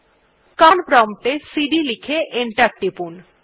command prompt এ CD লিখে করে এন্টার টিপুন